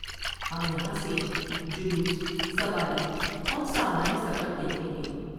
ہم یہاں سے جلوس سواری اور سامان سفر دیکھ لیں گے ۔